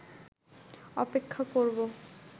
অপেক্ষা করবো